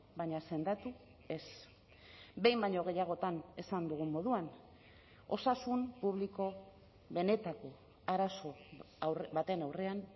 baina sendatu ez behin baino gehiagotan esan dugun moduan osasun publiko benetako arazo baten aurrean